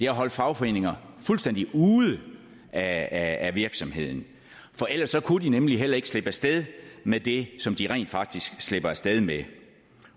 at holde fagforeninger fuldstændig ude af af virksomheden for ellers kunne de nemlig heller ikke slippe af sted med det som de rent faktisk slipper af sted med